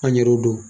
An yɛrɛw do